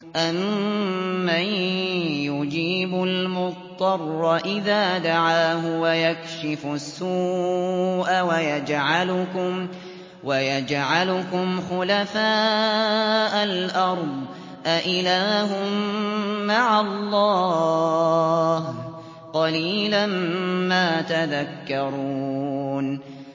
أَمَّن يُجِيبُ الْمُضْطَرَّ إِذَا دَعَاهُ وَيَكْشِفُ السُّوءَ وَيَجْعَلُكُمْ خُلَفَاءَ الْأَرْضِ ۗ أَإِلَٰهٌ مَّعَ اللَّهِ ۚ قَلِيلًا مَّا تَذَكَّرُونَ